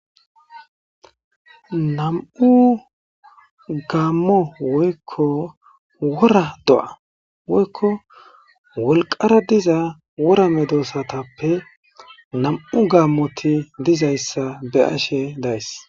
nam'u gaammo woykko wora do'a woykko wolqara diza wora medoossatappe nam'u gaammoti dizayssa be'ashe days